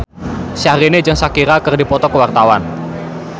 Syahrini jeung Shakira keur dipoto ku wartawan